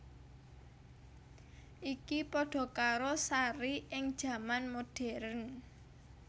Iki padha karo Sari ing jaman modern